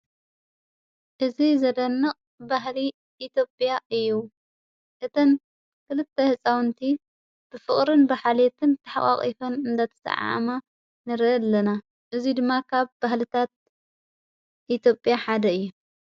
እዚ ዘደንቕ ባህሊ ኢትዮጵያ እዩ እተን ክልተ ሕፃውንቲ ብፍቕርን ብኃልዮትን ተሓቃቒፈን እናተሰዓዓማ ንርኢ ኣለና እዙይ ድማ ካብ ባህልታት ኢትዮጴያ ሓደ እዩ።